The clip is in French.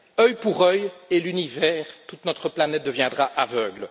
Œil pour œil et l'univers, toute notre planète, deviendra aveugle